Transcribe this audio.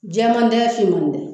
Jɛman tɛ finman tɛ.